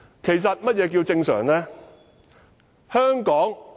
其實，何謂"正常"？